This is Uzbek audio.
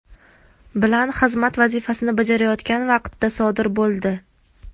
bilan xizmat vazifasini bajarayotgan vaqtda sodir bo‘ldi.